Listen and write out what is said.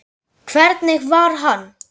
Hvernig var hann?